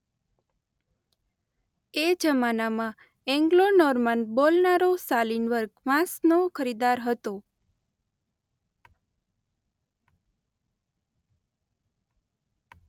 એ જમાનામાં એન્ગ્લો-નોર્માન બોલનારો શાલિન વર્ગ માંસનો ખરીદાર હતો.